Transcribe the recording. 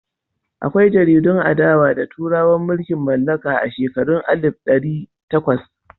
Akwai jaridun adawa da turawan mulkin mallaka a shekarun alif da ɗari takwas.